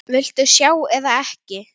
Viltu sjást eða ekki?